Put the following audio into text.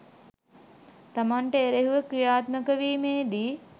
තමන්ට එරෙහිව ක්‍රියාත්මක වීමේදී